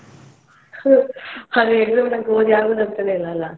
ಹ್ಮ್ ಅದ್ exam ತನ್ಕ ಓದಿ ಆಗುದಂತಲೇ ಇಲ್ಲ ಅಲ್ಲ?